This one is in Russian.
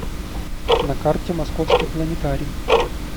на карте московский планетарий